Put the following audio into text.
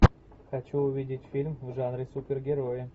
хочу увидеть фильм в жанре супергерои